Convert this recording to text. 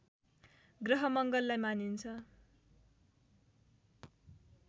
ग्रह मङ्गललाई मानिन्छ